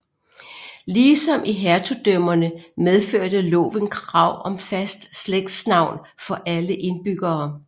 Ligesom i hertugdømmerne medførte loven krav om fast slægtsnavn for alle indbyggere